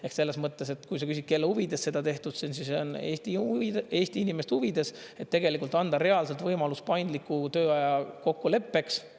Ehk selles mõttes, et kui sa küsid, kelle huvides seda tehtud, siis on Eesti inimeste huvides, et tegelikult anda reaalselt võimalus paindliku tööaja kokkuleppeks.